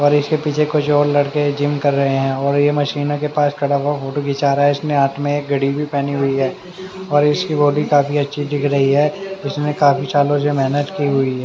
और इसके पीछे कुछ और लड़के जिम कर रहे है और ये मशीनो के पास खड़ा वा फोटो खींच वा रहा है इसने हाथ में एक घड़ी भी पहनी हुई है और इसकी बॉडी काफी अच्छी दिख रही है उसने काफी सालो से मेहनत की हुई है।